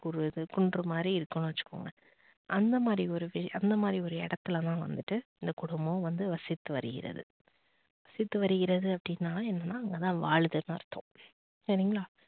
ஒரு இது குன்று மாதிரி இருக்குன்னு வச்சுக்கோங்க அந்த மாதிரி ஒரு அந்த மாதிரி ஒரு இடத்துல தான் வந்துட்டு இந்த குடும்பம் வந்து வசித்து வருகிறது. வசித்து வருகிறது அப்படின்னா என்னன்னா அங்கதான் வாழ்துன்னு அர்த்தம். சரிங்களா